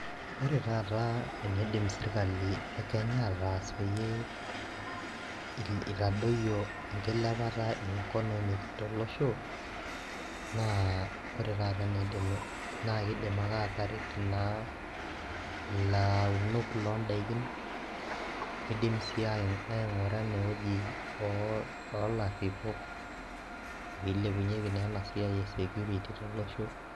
ore taata eniidim sirkali e kenya aataas peyie itadoyio enkilepata e economy tolosho naa taata eniidim, naa kidim ake aataret naa ilaunok loodaikin. idim sii aing'ura ene wueji olaripok pee eilepunyeki naa ena siai e security tolosho.